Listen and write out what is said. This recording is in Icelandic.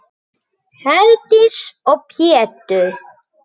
Herdís og Pétur.